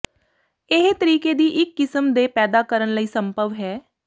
ਇਹ ਤਰੀਕੇ ਦੀ ਇੱਕ ਕਿਸਮ ਦੇ ਪੈਦਾ ਕਰਨ ਲਈ ਸੰਭਵ ਹੈ